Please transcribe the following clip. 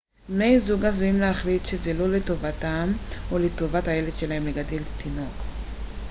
בני זוג עשויים להחליט שזה לא לטובתם או לטובת הילד שלהם לגדל תינוק